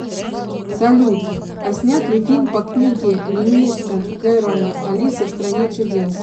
салют а снят ли фильм по книге льюиса керрола алиса в стране чудес